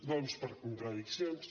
doncs per contradiccions